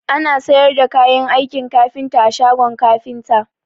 Ana sayar da kayan aikin kafinta a shagon kafinta